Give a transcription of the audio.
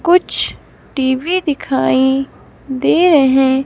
कुछ टी_वी दिखाई दे रहे--